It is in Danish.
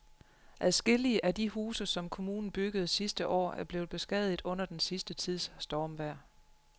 Adskillige af de huse, som kommunen byggede sidste år, er blevet beskadiget under den sidste tids stormvejr.